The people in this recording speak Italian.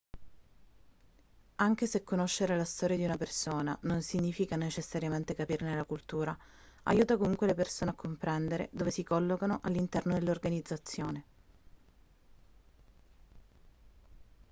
anche se conoscere la storia di una persona non significa necessariamente capirne la cultura aiuta comunque le persone a comprendere dove si collocano all'interno dell'organizzazione